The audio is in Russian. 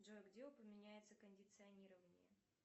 джой где упоминается кондиционирование